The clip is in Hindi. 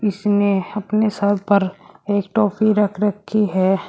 इसने अपने सर पर एक टोपी रख रखी है।